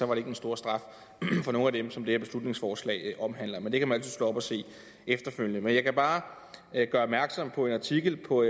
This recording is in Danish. var den store straf for nogen af dem som det her beslutningsforslag omhandler men det kan man altid slå op og se efterfølgende men jeg kan bare gøre opmærksom på en artikel på